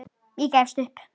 Ég gefst upp.